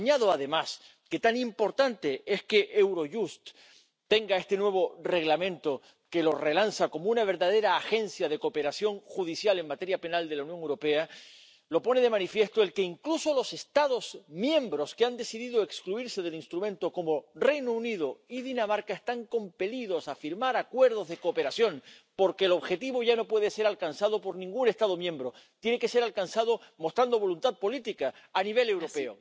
Pero añado, además, que la gran importancia de que Eurojust tenga este nuevo Reglamento que lo relanza como una verdadera agencia de cooperación judicial en materia penal de la Unión Europea la pone de manifiesto el hecho de que, incluso los Estados miembros que han decidido excluirse del instrumento, como el Reino Unido y Dinamarca, están compelidos a firmar acuerdos de cooperación, porque el objetivo ya no puede ser alcanzado por ningún Estado miembro, tiene que ser alcanzado mostrando voluntad política a nivel europeo.